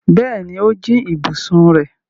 Bẹ́ẹ̀ni, ó jí ibùsùn rẹ̀.